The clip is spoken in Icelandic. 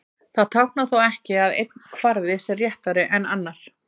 Það táknar þó ekki að einn kvarði sé réttari en annar.